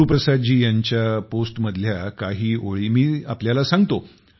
गुरुप्रसाद जी यांच्या पोस्टमधल्या काही ओळी मी सांगतो